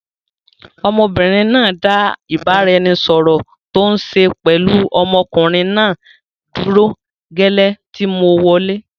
Ọmọbìnrin náà dá ìbáraẹnisọọ̀rọ̀ tòun ṣe pẹlu ọmọkùnrin náà dúró gẹ́lẹ́ tí mo wọlẹ́.